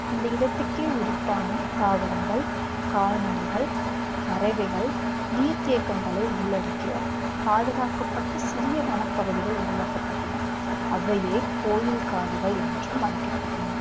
அந்த இடத்திற்கே உரித்தான தாவரங்கள் கால்நடைகள் பறவைகள் நீர்த்தேக்கங்களை உள்ளடக்கிய பாதுகாக்கப்பட்ட சிறிய வனப்பகுதிகள் உருவாக்கப்பட்டன அவையே கோயில் காடுகள் என்றும் அழைக்கப்பட்டன